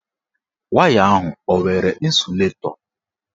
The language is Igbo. Waya ahụ enwere ịnsụlatọ?